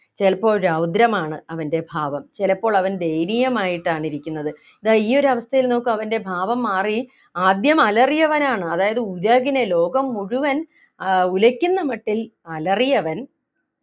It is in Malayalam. ചിലപ്പോൾ രൗദ്രമാണ് അവൻ്റെ ഭാവം ചിലപ്പോൾ അവൻ ദയനീയമായിട്ടാണ് ഇരിക്കുന്നത് ദാ ഈയൊരു അവസ്ഥയിൽ നോക്ക് അവൻ്റെ ഭാവം മാറി ആദ്യം അലറിയവനാണ് അതായത് ഉലകിനെ ലോകം മുഴുവൻ ഏർ ഉലയ്ക്കുന്ന മട്ടിൽ അലറിയവൻ